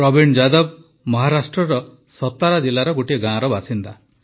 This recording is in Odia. ପ୍ରବୀଣ ଯାଦବ ଜୀ ମହାରାଷ୍ଟ୍ରର ସତାରା ଜିଲ୍ଲାର ଗୋଟିଏ ଗାଁର ବାସିନ୍ଦା